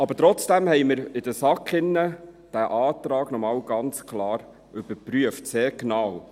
Aber trotzdem haben wir den Antrag in der SAK noch einmal ganz klar überprüft, sehr genau.